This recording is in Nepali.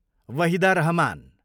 वाहिदा रहमान